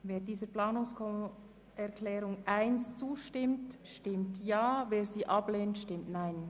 Wer die Planungserklärung 1 annehmen will, stimmt Ja, wer diese ablehnt, stimmt Nein.